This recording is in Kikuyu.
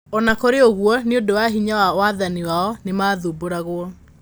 O na kũrĩ ũguo, nĩ ũndũ wa hinya wa wathani wao, nĩ maathumbũragwo.